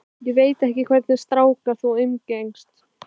Ég veit ekki hvernig stráka þú umgengst.